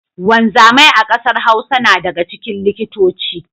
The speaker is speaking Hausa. Wanzamai a kasar Hausa na daga cikin likitoci.